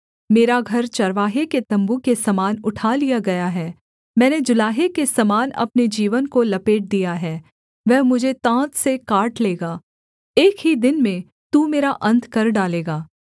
मेरा घर चरवाहे के तम्बू के समान उठा लिया गया है मैंने जुलाहे के समान अपने जीवन को लपेट दिया है वह मुझे ताँत से काट लेगा एक ही दिन में तू मेरा अन्त कर डालेगा